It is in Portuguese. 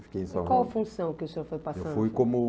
Fiquem em... E qual a função que o senhor foi passando? Eu fui como